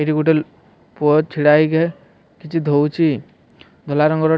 ଏଠି ଗୋଟେ ଲୋ ପୁଅ ଛିଡ଼ା ହେଇକେ କିଛି ଧୋଉଚି। ଧଲା ରଙ୍ଗର --